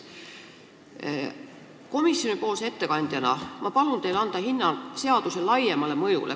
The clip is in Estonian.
Palun teil komisjoni ettekandjana anda hinnang seaduse laiemale mõjule.